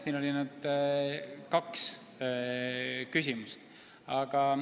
Siin oli nüüd kaks küsimust.